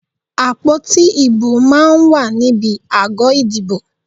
Àpótí ìbò máa ń wà níbi àgọ́ ìdìbò.